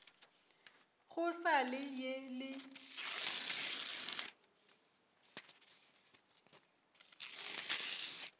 go sa le ye le